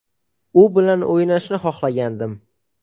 U bilan o‘ynashni xohlagandim.